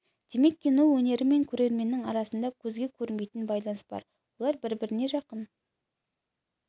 демек кино өнері мен көрерменнің арасында көзге көрінбейтін байланыс бар олар бір-біріне жақын